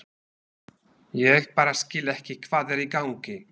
Ég bara skil ekki hvað er í gangi.